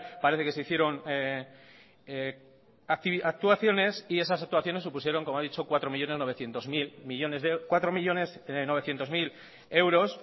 parece que se hicieron actuaciones y esas actuaciones supusieron como ha dicho cuatro millónes novecientos mil euros